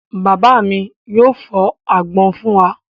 Bàbá mi yóò fọ́ àgbọn fún wa.